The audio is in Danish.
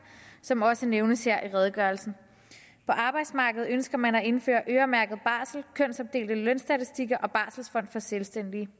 som også nævnes her i redegørelsen på arbejdsmarkedet ønsker man at indføre øremærket barsel kønsopdelte lønstatistikker og barselfond for selvstændige